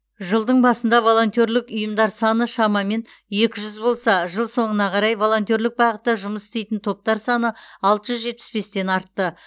жылдың басында волонтерлік ұйымдар саны шамамен екі жүз болса жыл соңына қарай волонтерлік бағытта жұмыс істейтін топтар саны алты жүз жетпіс бестен артты